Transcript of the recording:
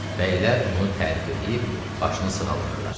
Bəylər onu tərif eləyib başını sığalladılar.